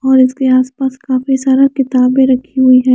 और इसके आस-पास काफी सारा किताबे रखी हुई हैं।